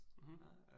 Mh